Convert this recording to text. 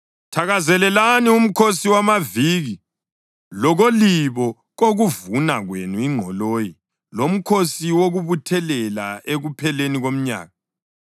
Thakazelelani uMkhosi wamaViki lokolibo kokuvuna kwenu ingqoloyi loMkhosi wokuButhelela ekupheleni komnyaka.